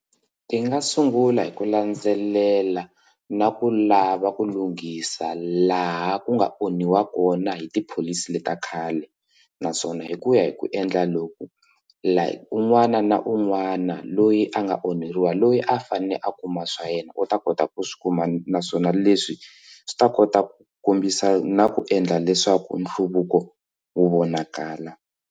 Ti nga sungula hi ku landzelela na ku lava ku lunghisa laha ku nga onhiwa kona hi tipholisi leti ta khale naswona hi ku ya hi ku endla loku laha un'wana na un'wana loyi a nga onheriwa loyi a fanele a kuma swa yena u ta kota ku swi kuma naswona leswi swi ta kota ku kombisa na ku endla leswaku nhluvuko wu vonakala.